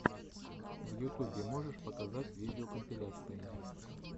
в ютубе можешь показать видеокомпиляции